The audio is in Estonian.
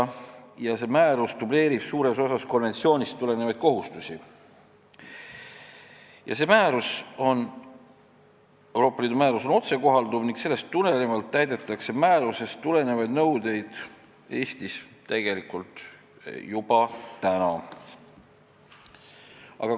See Euroopa Liidu määrus dubleerib suures osas konventsioonist tulenevaid kohustusi ning on otsekohalduv, seetõttu täidetakse määrusest tulenevaid nõudeid Eestis tegelikult juba praegu.